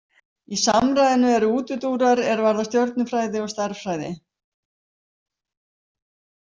Í samræðunni eru útúrdúrar er varða stjörnufræði og stærðfræði.